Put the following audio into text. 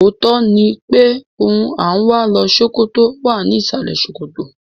Òótọ́ ni pé ohun à ń wá lọ Ṣókótó wà ní ìsàlẹ̀ ṣòkòtò.